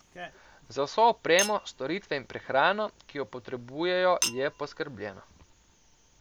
Za vso opremo, storitve in prehrano, ki jo potrebujejo, je poskrbljeno.